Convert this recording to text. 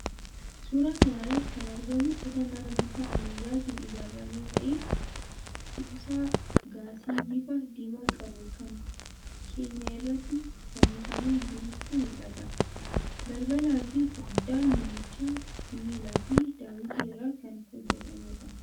Suuraa kana irratti kan argamu kutaa manaa bifa ammayyaatiin ijaarame ta'ee, kuusaa gaasii bifa diimaa qabu kan keenyan irratti fannifamee jirutu mul'ata. Balbalaafi foddaan manichaa sibiilaafi daawwitii irraa kan hojjetameedha.